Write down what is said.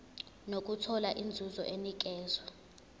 nokuthola inzuzo enikezwa